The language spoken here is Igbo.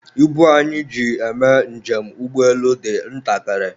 ibu anyị ji eme njem ụgbọelu dị ntakịrị